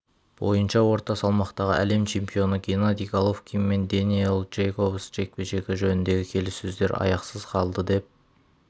бойынша орта салмақтағы әлем чемпионы геннадий головкин мен дэниел джейкобс жекпе-жегі жөніндегі келіссөздер аяқсыз қалды деп